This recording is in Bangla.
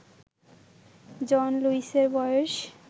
জন লুইসের বয়েস